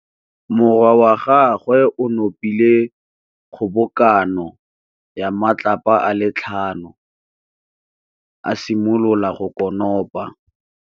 Morwa wa gagwe o nopile kgobokanô ya matlapa a le tlhano, a simolola go konopa.